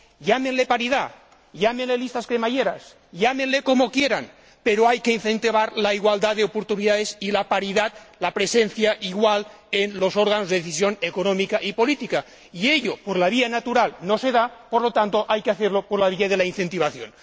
Llámenle paridad, llámenle listas cremallera, llámenle como quieran, pero hay que incentivar la igualdad de oportunidades y la paridad, la presencia igual en los órganos de decisión económica y política, y como por la vía natural no se da, hay que hacerlo por la vía de la incentivación.